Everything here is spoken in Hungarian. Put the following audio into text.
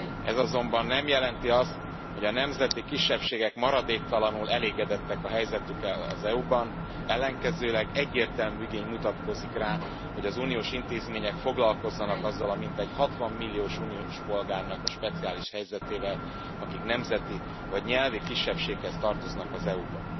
Ez azonban nem jelenti azt, hogy a nemzeti kisebbségek maradéktalanul elégedettek a helyzetükkel az EU ban, ellenkezőleg, egyértelmű igény mutatkozik rá, hogy az uniós intézmények foglalkozzanak azzal a mintegy 60 millió uniós polgárnak a speciális helyzetével, akik nemzeti vagy nyelvi kisebbséghez tartoznak az EU ban.